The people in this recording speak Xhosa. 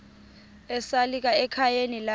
esalika ekhayeni lakhe